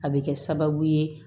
A bɛ kɛ sababu ye